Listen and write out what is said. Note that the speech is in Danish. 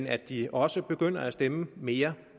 at de også begynder at stemme mere